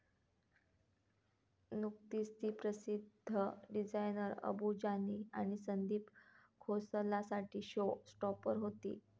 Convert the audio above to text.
नुकतीच ती प्रसिद्ध डिझायनर अबू जानी आणि संदीप खोसलासाठी शो स्टॉपर होती.